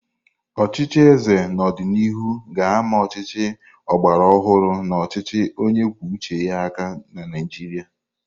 Ọchịchị eze n'ọdịnihu ga-ama ọchịchị ọgbara ọhụrụ na ọchịchị onye kwuo uche ya aka na Naijiria.